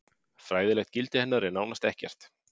Fræðilegt gildi hennar er nánast ekkert.